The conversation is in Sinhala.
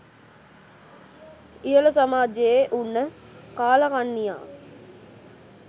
ඉහල සමාජයේ උන්න කාළකන්නියා